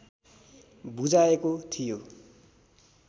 बुझाएको थियो